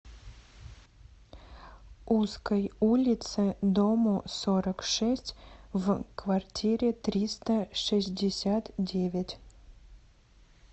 узкой улице дому сорок шесть в квартире триста шестьдесят девять